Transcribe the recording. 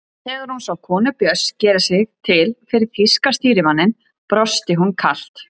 Þegar hún sá konu Björns gera sig til fyrir þýska stýrimanninum brosti hún kalt.